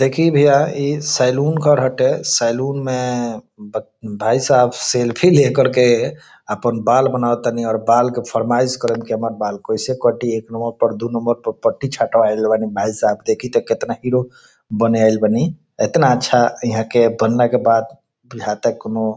देखी भैया इ सैलून घर हटे सैलून मे भाई साहब सेल्फी लेकर के अपन बाल बनावा तानी और बाल के फर्माइश करेनी की हमर बाल कैसे कटी एक नंबर पर दू नंबर पर छटवाइल बानी भाई साहब देखी ते केतना हीरो बनाएल बानी एतना अच्छा इहा के बनने के बाद इहा के कोनो --